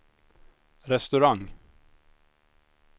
restaurang